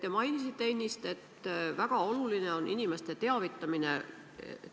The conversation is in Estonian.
Te mainisite ennist, et väga oluline on inimeste teavitamine.